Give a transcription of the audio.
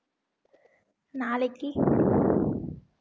நாளைக்கி